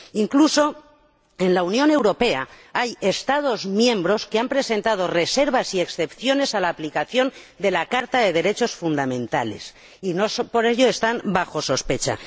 Incluso en la Unión Europea hay Estados miembros que han presentado reservas y excepciones a la aplicación de la Carta de los Derechos Fundamentales y no por ello están bajo sospecha.